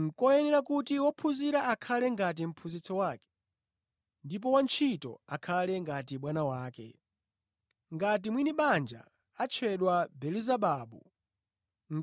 Nʼkoyenera kuti wophunzira akhale ngati mphunzitsi wake, ndi wantchito akhale ngati bwana wake. Ngati mwini banja atchedwa Belezebabu,